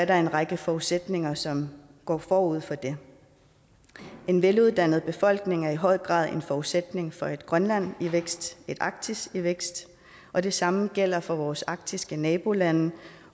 der en række forudsætninger som går forud for det en veluddannet befolkning er i høj grad en forudsætning for et grønland i vækst et arktis i vækst og det samme gælder for vores arktiske nabolande